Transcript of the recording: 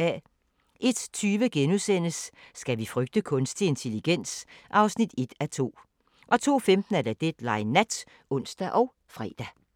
01:20: Skal vi frygte kunstig intelligens? (1:2)* 02:15: Deadline Nat (ons og fre)